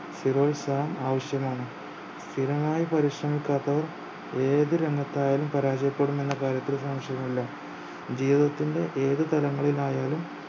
സ്ഥിരോത്സാഹം ആവശ്യമാണ് സ്ഥിരമായി പരിശ്രമിക്കാത്തവർ ഏത് രംഗത്തായാലും പരാജയപ്പെടുമെന്ന കാര്യത്തിൽ സംശയവുമില്ല ജീവിതത്തിന്റെ ഏതു തലങ്ങളിലായാലും